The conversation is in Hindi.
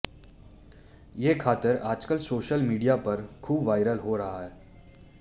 ये खातर आजकल सोशल मीडिया पर खूब वायरल हो रहा है